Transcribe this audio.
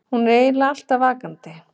Hún er eiginlega alltaf vakandi.